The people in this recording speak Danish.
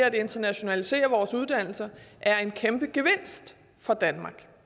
at internationalisere vores uddannelser er en kæmpe gevinst for danmark